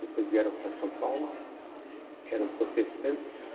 Depois vieram para São Paulo, eram protestantes.